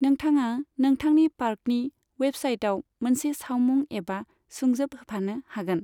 नोंथाङा नोंथांनि पार्कनि वेबसाइटआव मोनसे सावमुं एबा सुंजोब होफानो हागोन।